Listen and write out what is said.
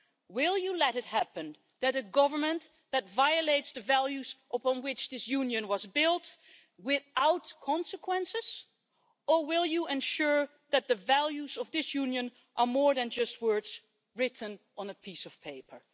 Will you let a government violate the values upon which this Union was built without consequences, or will you ensure that the values of this Union are more than just words written on a piece of paper?